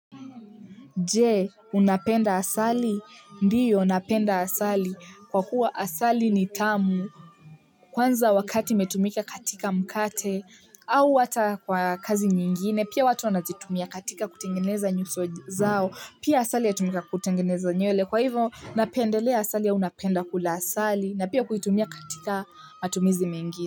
Je unapenda asali ndiyo napenda asali kwa kuwa asali ni tamu kwanza wakati imetumika katika mkate au hata kwa kazi nyingine pia watu wanazitumia katika kutengeneza nyuso zao pia asali yatumika kutengeneza nywele kwa hivo napendelea asali au napenda kula asali na pia kuitumia katika matumizi mengine.